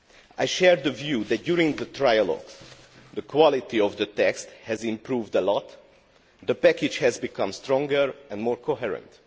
I share the view that during the trilogues the quality of the text has improved a lot, and that the package has become stronger and more coherent.